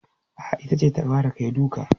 A'a, ita ce ta fara kai duka.